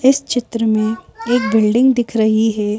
इस चित्र में एक बिल्डिंग दिख रही है।